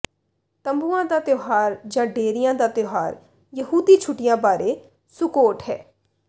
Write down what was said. ਤੰਬੂਆਂ ਦਾ ਤਿਉਹਾਰ ਜਾਂ ਡੇਰਿਆਂ ਦਾ ਤਿਉਹਾਰ ਯਹੂਦੀ ਛੁੱਟੀਆਂ ਬਾਰੇ ਸੁੱਕੋਟ ਹੈ